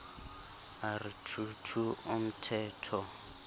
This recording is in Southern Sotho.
a re two two umthetho